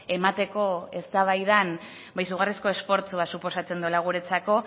emateko eztabaidan izugarrizko esfortzua suposatzen duela guretzako